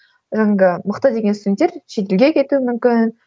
мықты деген студенттер шетелге кетуі мүмкін